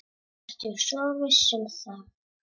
Ertu svo viss um það?